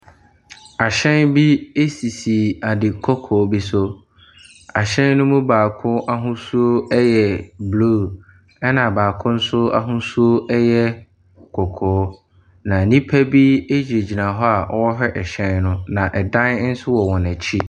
Ahyɛn bi sisi ade kɔkɔɔ bi so, ahyɛn ne mu baako ahosuo yɛ blue, na baako nso ahosuo yɛ kɔkɔɔ. na nnipa gyinagyina hɔ a wɔrehwɛ ahyɛn no na dan nso wɔ wɔn akyi.